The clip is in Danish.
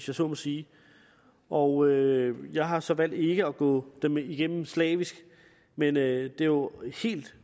jeg så må sige og jeg har så valgt ikke at gå dem igennem slavisk men det er jo helt